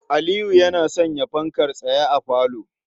Aliyu yana sanya fankar tsaye a falo.